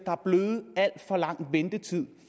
der er blevet for lang ventetid